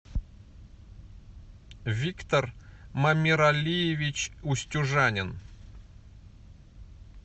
виктор мамиралиевич устюжанин